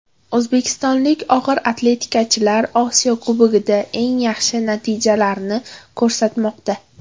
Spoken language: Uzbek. O‘zbekistonlik og‘ir atletikachilar Osiyo Kubogida eng yaxshi natijalarni ko‘rsatmoqda.